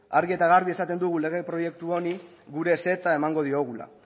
argi eta garbi esaten dugu lege proiektu honi gure ezetza emango diogula